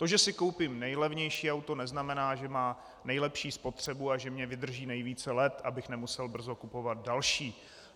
To, že si koupím nejlevnější auto, neznamená, že má nejlepší spotřebu a že mi vydrží nejvíce let, abych nemusel brzo kupovat další.